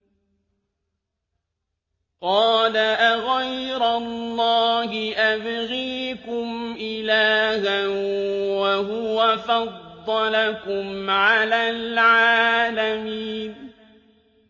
قَالَ أَغَيْرَ اللَّهِ أَبْغِيكُمْ إِلَٰهًا وَهُوَ فَضَّلَكُمْ عَلَى الْعَالَمِينَ